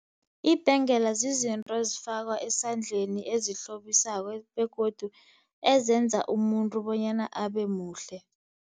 Ibhengela zizinto ezifakwa esandleni ezihlobisako begodu ezenza umuntu bonyana abe muhle.